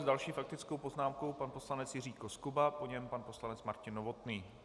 S další faktickou poznámkou pan poslanec Jiří Koskuba, po něm pan poslanec Martin Novotný.